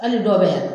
Hali dɔw bɛ yan